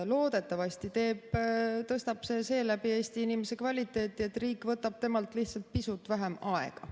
Loodetavasti tõstab see seeläbi Eesti inimese kvaliteeti, et riik võtab temalt lihtsalt pisut vähem aega.